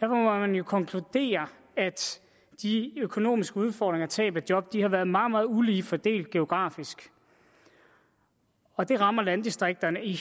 må man jo konkludere at de økonomiske udfordringer og tab af job har været meget meget ulige fordelt geografisk og det rammer landdistrikterne i